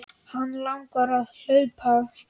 Hana langar að hlaupa.